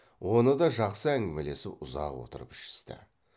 оны да жақсы әңгімелесіп ұзақ отырып ішісті